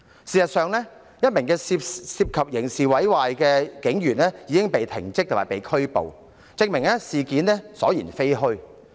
事實上，一名涉嫌刑事毀壞的警員已被停職及拘捕，證明事件所言非虛。